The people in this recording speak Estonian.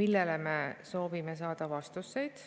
millele me soovime saada vastust.